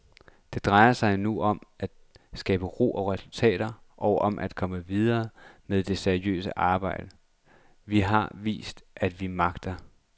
Det drejer sig nu om at skabe ro og resultater og om at komme videre med det seriøse arbejde, vi har vist, at vi magter.